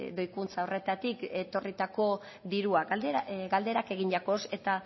doikuntza horretatik etorritako diruak galdera egin jakoz eta